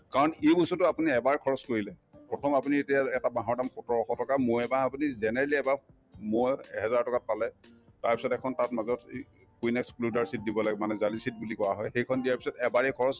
কাৰণ এইবস্তুতো আপুনি এবাৰ খৰচ কৰিলে প্ৰথম আপুনি এতিয়া এ এটা বাহৰ দাম সোতৰশ টকা মৌ এবাহ আপুনি generally এবাহ মৌ এহেজাৰ টকাত পালে তাৰপিছত এখন তাত দিব লাগে মানে জালি sheet বুলি কোৱা হয় সেইখন দিয়াৰ পিছত এবাৰে খৰচ